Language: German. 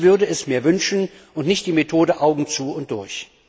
Ich würde es mir wünschen, und nicht die Methode Augen zu und durch!